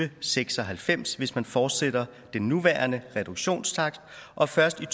og seks og halvfems hvis man fortsætter den nuværende reduktionstakst og først i